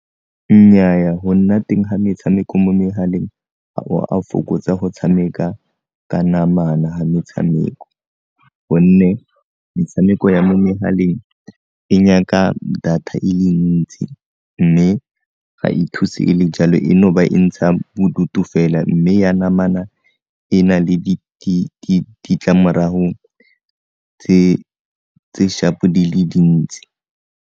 Nnyaa, go nna teng ga metshameko mo megaleng ga o a fokotsa go tshameka ka namana ga metshameko, gonne metshameko ya mo megaleng e nyaka data e le ntsi mme ga e thuse e le jalo e no ba e ntsha bodutu fela mme ya namana e na le ditlamorago tse sharp-o di le dintsi.